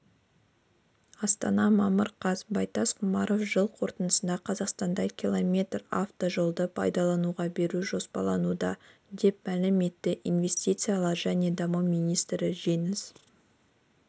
астана мамыр қаз байтас құрманов жыл қорытындысында қазақстанда км автожолды пайдалануға беру жоспарлануда деп мәлім етті инвестициялар және даму министрі жеңіс